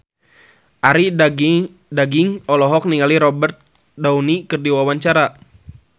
Arie Daginks olohok ningali Robert Downey keur diwawancara